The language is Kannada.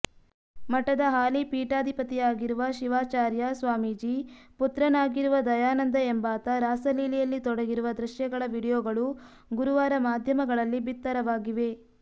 ಮಠದ ಹಾಲಿ ಪೀಠಾಧಿಪತಿಯಾಗಿರುವ ಶೀವಾಚರ್ಯ ಸ್ವಾಮೀಜಿ ಪುತ್ರನಾಗಿರುವ ದಯಾನಂದ ಎಂಬಾತ ರಾಸಲೀಲೆಯಲ್ಲಿ ತೊಡಗಿರುವ ದೃಶ್ಯಗಳ ವಿಡಿಯೋಗಳು ಗುರುವಾರ ಮಾಧ್ಯಮಗಳಲ್ಲಿ ಬಿತ್ತರವಾಗಿವೆ